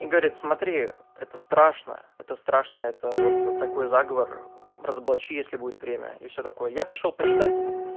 и горит смотри это страшно это страшно это вот такой заговор разоблачили если будет время и все такое я пошёл почитать